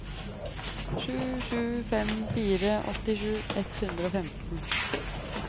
sju sju fem fire åttisju ett hundre og femten